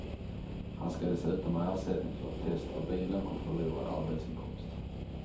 Han ska dessutom ha ersättning för ett test av bilen och förlorad arbetsinkomst.